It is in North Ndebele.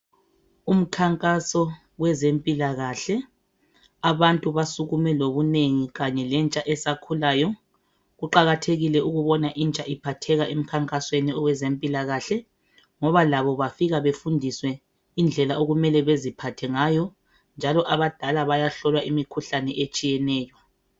Umkhankaso wezempilakahle abantu basukume ngobunengi kanye lentsha esakhulayo kuqakathekile ukubona intsha iphatheka emkhankasweni owezempilakahle ngoba labo bafika befundiswe indlela okumele beziphathe ngayo njalo abadala bayahlolwa imikhuhlane etshiyeneyo.